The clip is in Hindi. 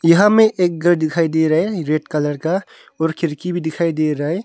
यहां में एक घर दिखाई दे रहा है रेड कलर का और खिरकी भी दिखाई दे रहा है।